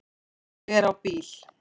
Ég er á bíl